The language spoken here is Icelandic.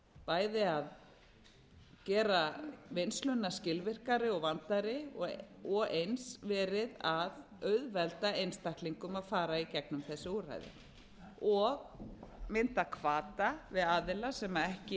bæði að gera vinnsluna skilvirkari og vandaðri og eins verið að auðvelda einstaklingum að fara í gegnum þessi úrræði og mynda hvata við aðila sem ekki